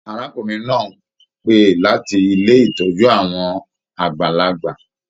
Arákùnrin náà ń pé láti ilé ìtọ́jú àwọn àgbàlagbà.